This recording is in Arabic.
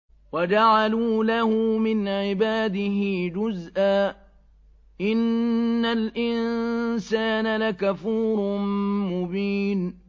وَجَعَلُوا لَهُ مِنْ عِبَادِهِ جُزْءًا ۚ إِنَّ الْإِنسَانَ لَكَفُورٌ مُّبِينٌ